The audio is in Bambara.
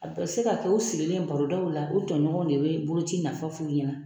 A bɛ se ka kɛ o sigilen barodaw la o tɔɲɔgɔn de bɛ boloci nafa f'u ɲɛna.